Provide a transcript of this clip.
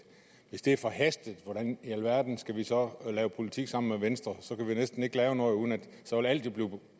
hvis det her er forhastet hvordan i alverden skal vi så lave politik sammen med venstre så kan vi jo næsten ikke lave noget uden at det vil blive